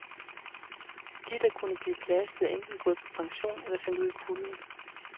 De der kunne blive belastet, er enten gået på pension eller sendt ud i kulden.